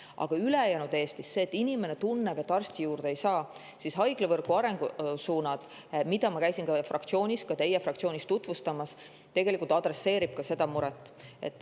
Aga ülejäänud Eesti inimeste puhul, kes tunnevad, et arsti juurde ei saa, haiglavõrgu arengusuunad, mida ma käisin ka teie fraktsioonis tutvustamas, tegelikult adresseerivad seda muret.